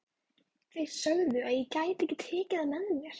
Þeir sögðu að ég gæti ekki tekið það með mér.